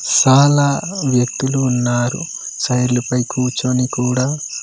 సాల వ్యక్తులు ఉన్నారు చైర్ల పై కూర్చొని కూడా--